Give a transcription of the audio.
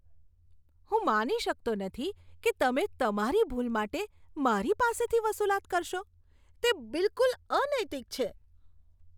હું માની શકતો નથી કે તમે તમારી ભૂલ માટે મારી પાસેથી વસૂલાત કરશો. તે બિલકુલ અનૈતિક છે.